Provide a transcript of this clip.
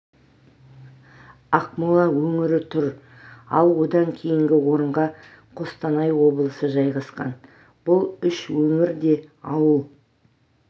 ақмола өңірі тұр ал одан кейінгі орынға қостанай облысы жайғасқан бұл үш өңір де ауыл